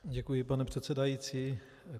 Děkuji, pane předsedající.